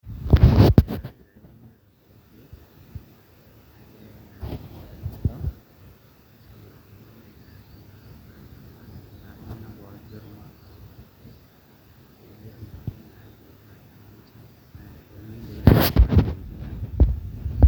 pause for so long